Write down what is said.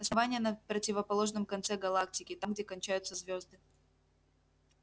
основание на противоположном конце галактики там где кончаются звезды